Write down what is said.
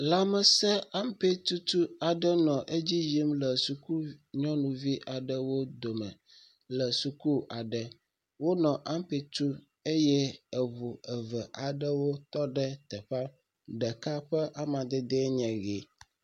Lãmesẽ ampetutu aɖe nɔ eedzi yim le suku nyɔnuvi aɖewo dome le suku aɖe. Wonɔ ampe tum eye eŋu eve aɖewo tɔ ɖe teƒea, ɖeka ƒe amadede enye ʋe.